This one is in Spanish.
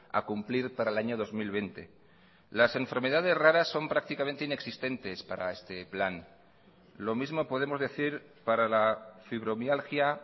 a cumplir para el año dos mil veinte las enfermedades raras son prácticamente inexistentes para este plan lo mismo podemos decir para la fibromialgia